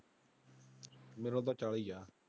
ਮੇਰਾ ਤਾਂ ਚਾਲੀ ਆ।